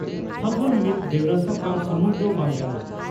ᱯᱷᱟᱹᱜᱩᱱ' ᱢᱤᱫ ᱵᱮᱣᱨᱟ ᱥᱟᱠᱟᱢ ᱥᱩᱢᱩᱝ ᱫᱚ ᱵᱟᱝ ᱠᱟᱱᱟ